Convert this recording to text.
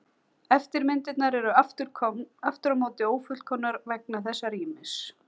Eftirmyndirnar eru aftur á móti ófullkomnar vegna þessa rýmis.